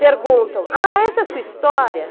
Perguntam, ah, essa é a sua história?